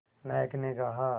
नायक ने कहा